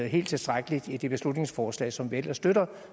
helt tilstrækkeligt i det beslutningsforslag som vi ellers støtter